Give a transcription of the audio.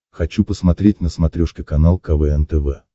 хочу посмотреть на смотрешке канал квн тв